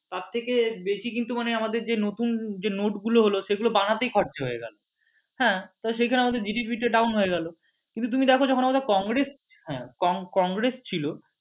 তার থেকে বেশী কিন্তু মানে আমাদের যে নতুন যে নোট গুলো হল সেগুলো বানাতেই খরচা হয়ে গেলো হ্যাঁ তো সেইখানে আমাদের GDP টা down হয়ে গেলো কিন্তু তুমি দেখো যখন আমাদের কংগ্রেস হ্যাঁ কংগ্রেস ছিল